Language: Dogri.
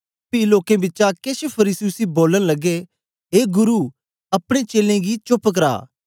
पी लोकें बिचा केछ फरीसी उसी बोलन लगे ए गुरु अपने चेलें गी चोप्प करा